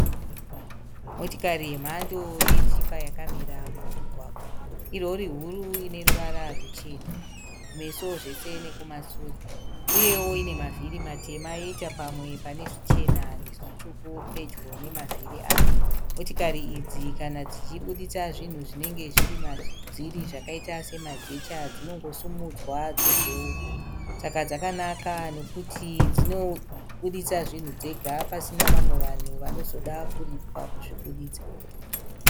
Motikari yemhando yetipa yakamira mumugwagwa. Irori huru ine ruvara ruchena kumeso zvese nekumashure. Uyewo ine mavhiri matema yoita pamwe pane zvichena nezvitsvuku pedyo nemavhiri ayo. Motikari idzi kana dzichiburitsa zvinhu zvinenge zviri madziri zvakaita semajecha dzinongosimudzwa dzobheurwa. Saka dzakanaka nekuti dzinobuditsa zvinhu dzega pasina vamwe vanhu vanozoda kuripwa kuzvibuditsa.